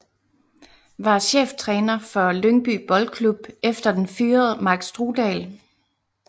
Var cheftræner for Lyngby Boldklub efter den fyrede Mark Strudal